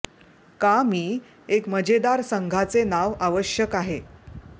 का मी एक मजेदार संघाचे नाव आवश्यक आहे